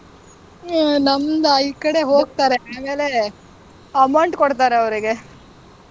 ಹ್ಮ್ ನಮ್ದಾ ಈ ಕಡೆ ಹೋಗ್ತಾರೆ, ಆಮೇಲೆ amount ಕೊಡ್ತಾರೆ ಅವ್ರಿಗೆ.